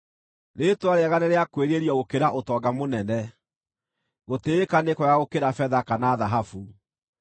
Rĩĩtwa rĩega nĩrĩakwĩrirĩrio gũkĩra ũtonga mũnene; gũtĩĩka nĩ kwega gũkĩra betha kana thahabu.